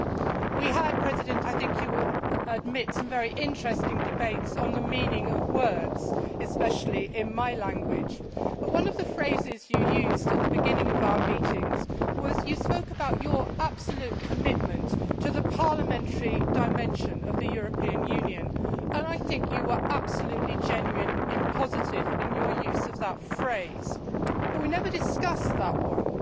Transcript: President Barroso, we had, I think you will admit, some very interesting debates on the meaning of words, especially in my language, but one of the phrases you used at the beginning of our meetings was that you spoke about your absolute commitment to the parliamentary dimension' of the European Union, and I think you were absolutely genuine and positive in your use of that phrase, yet we never discussed that one.